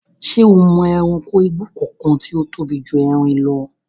Ṣé o mọ ẹranko igbó kankan tí ó tóbi ju erin lọ?